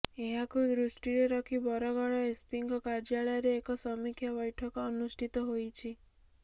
ଏହାକୁ ଦୃଷ୍ଟିରେ ରଖି ବରଗଡ଼ ଏସ୍ପିଙ୍କ କାର୍ଯ୍ୟାଳୟରେ ଏକ ସମୀକ୍ଷା ବ୘ଠକ ଅନୁଷ୍ଠିତ ହୋଇଛି